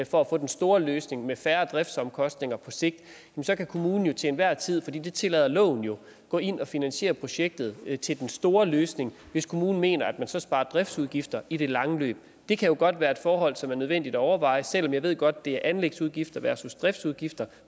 for at få den store løsning med færre driftsomkostninger på sigt så kan kommunen jo til enhver tid det tillader loven jo gå ind og finansiere projektet til den store løsning hvis kommunen mener at man så sparer driftsudgifter i det lange løb det kan jo godt være et forhold som er nødvendigt at overveje selv om jeg godt det er anlægsudgifter versus driftsudgifter